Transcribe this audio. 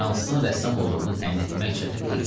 Fransızın rəssam olduğunu təyin etmək çətin deyildi.